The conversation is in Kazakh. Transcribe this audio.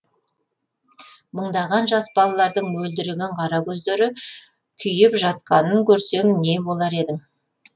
мыңдаған жас балалардың мөлдіреген қара көздері күйіп жатқанын көрсең не болар едің